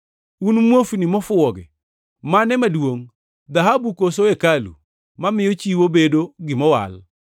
Un muofni mofuwogi! Mane maduongʼ: Dhahabu koso hekalu mamiyo chiwo bedo gima owal?